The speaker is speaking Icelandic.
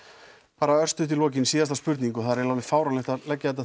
bara örstutt í lokin síðasta spurning og það er eiginlega fáránlegt að leggja þetta